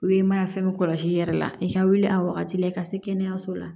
I bɛ mana fɛn min kɔlɔsi i yɛrɛ la i ka wuli a wagati la i ka se kɛnɛyaso la